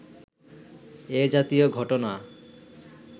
এ জাতীয় ঘটনা